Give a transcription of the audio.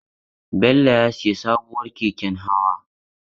Bello ya sayi sabuwar keken hawa.